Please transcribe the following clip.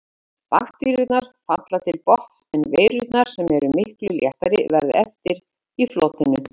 Bakteríurnar falla til botns en veirurnar, sem eru miklu léttari, verða eftir í flotinu.